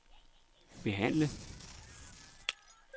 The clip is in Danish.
behandle